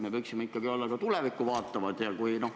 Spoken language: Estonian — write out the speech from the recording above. Me võiksime olla ikkagi tulevikku vaatavad.